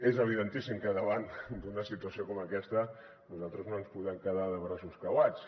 és evidentíssim que davant d’una situació com aquesta nosaltres no ens podem quedar de braços creuats